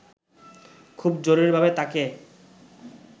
খুব জরুরিভাবে তাকে